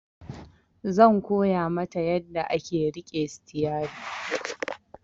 Zan koya mata yanda ake riƙe sitiyari